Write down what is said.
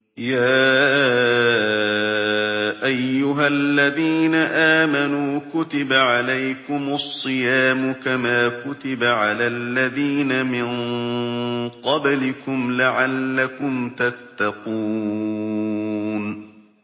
يَا أَيُّهَا الَّذِينَ آمَنُوا كُتِبَ عَلَيْكُمُ الصِّيَامُ كَمَا كُتِبَ عَلَى الَّذِينَ مِن قَبْلِكُمْ لَعَلَّكُمْ تَتَّقُونَ